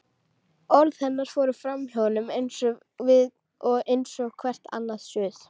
Orð hennar fóru framhjá honum eins og hvert annað suð.